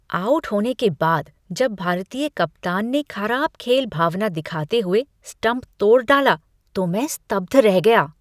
Out होने के बाद जब भारतीय कप्तान ने खराब खेल भावना दिखाते हुए स्टम्प तोड़ डाला तो मैं स्तब्ध रह गया।